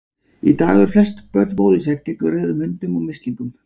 Í dag eru flest börn bólusett gegn rauðum hundum og mislingum.